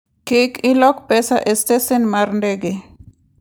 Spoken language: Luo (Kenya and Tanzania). Kik ilok pesa e stesen mar ndege.